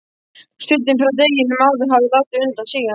Suddinn frá deginum áður hafði látið undan síga.